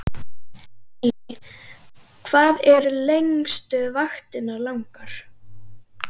Lillý: Hvað eru lengstu vaktirnar langar?